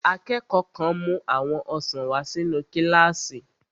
Akẹ́kọ̀ọ́ kan mú àwọn ọsàn wà sínu kílásì